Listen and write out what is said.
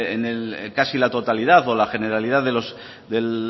casi la totalidad o la generalidad del